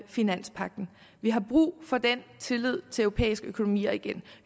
finanspagten vi har brug for den tillid til europæiske økonomier igen